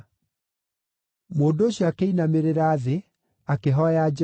Mũndũ ũcio akĩinamĩrĩra thĩ, akĩhooya Jehova,